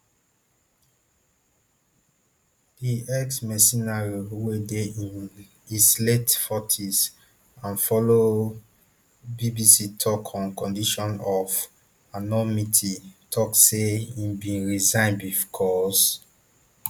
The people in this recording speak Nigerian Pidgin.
di exmercenary wey dey im his late forties and follow bbc tok on condition of anonymity tok say im bin resign becos